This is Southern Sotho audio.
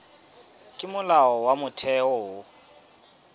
ke molao wa motheo ho